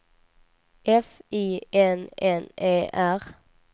F I N N E R